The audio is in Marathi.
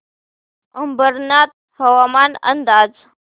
अंबरनाथ हवामान अंदाज